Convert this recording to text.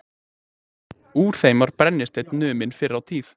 Úr þeim var brennisteinn numinn fyrr á tíð.